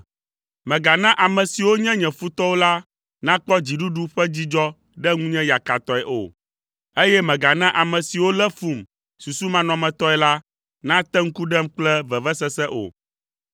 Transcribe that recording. Mègana ame siwo nye nye futɔwo la nakpɔ dziɖuɖu ƒe dzidzɔ ɖe ŋunye yakatɔe o, eye mègana ame siwo lé fum susumanɔmetɔe la nate ŋku ɖem kple vevesese o.